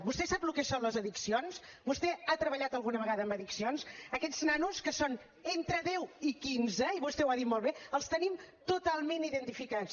vostè sap el que són les addiccions vostè ha treballat alguna vegada amb addiccions aquests nanos que són entre deu i quinze i vostè ho ha dit molt bé els tenim totalment identificats